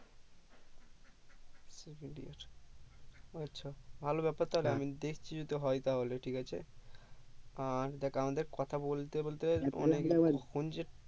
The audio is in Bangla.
second year আচ্ছা ভালো ব্যাপার তাহলে আমি দেখছি যদি হয় তাহলে ঠিক আছে আর দেখ আমাদের কথা বলতে বলতে